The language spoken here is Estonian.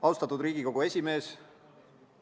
Austatud Riigikogu esimees!